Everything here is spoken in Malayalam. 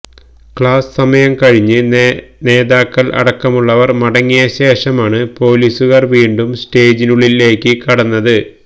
ക്ലാസ് സമയം കഴിഞ്ഞ് നേതാക്കൾ അടക്കമുള്ളവർ മടങ്ങിയശേഷമാണ് പോലീസുകാർ വീണ്ടും സ്റ്റേജിനുള്ളിലേക്ക് കടന്നത്